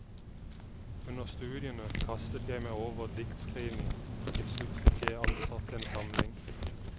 Under studiene kastet jeg meg over diktskriving, og til slutt fikk jeg antatt en samling.